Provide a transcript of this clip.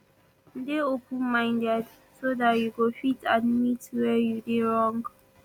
dey open minded so dat you go fit admit where you dey wrong